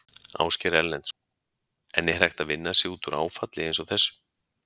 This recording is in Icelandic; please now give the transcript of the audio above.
Ásgeir Erlendsson: En er hægt að vinna sig út úr áfalli eins og þessu?